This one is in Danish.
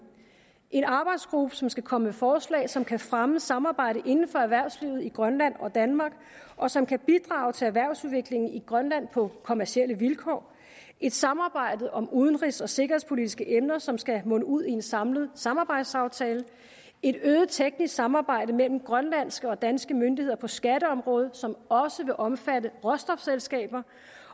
en arbejdsgruppe som skal komme forslag som kan fremme samarbejdet inden for erhvervslivet i grønland og danmark og som kan bidrage til erhvervsudviklingen i grønland på kommercielle vilkår et samarbejde om udenrigs og sikkerhedspolitiske emner som skal munde ud i en samlet samarbejdsaftale et øget teknisk samarbejde mellem grønlandske og danske myndigheder på skatteområdet som også vil omfatte råstofselskaber